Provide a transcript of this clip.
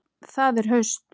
Það er haust.